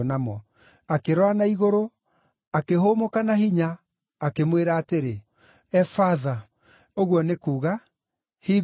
Akĩrora na igũrũ, akĩhũmũka na hinya, akĩmwĩra atĩrĩ, “Efatha!” (ũguo nĩ kuuga, “Hingũka!”).